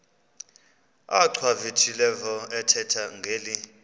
achwavitilevo ethetha ngeli